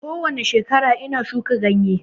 Kowani shekara ina shuka ganye